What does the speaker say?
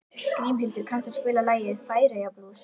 Grímhildur, kanntu að spila lagið „Færeyjablús“?